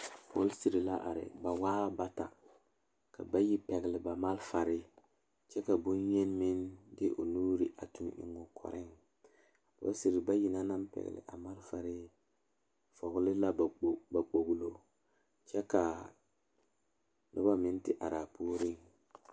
Polisiiri la are ba waa bata dɔɔba bayi ane pɔgeba bayi la a laŋ zeŋ a dɔɔ kaŋ naŋ seɛ traza pelaa pegle la gane o nu poɔ ane magdalee a pɔge kaŋa meŋ zeŋ la koo niŋe soga ba saa kyɛ kaa dɔɔ kaŋa ane a pɔge ka noba meŋ te are a puori.